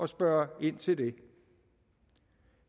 spørge ind til det